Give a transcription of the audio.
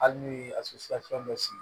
Hali n'u ye dɔ sigi